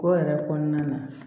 Ko yɛrɛ kɔnɔna na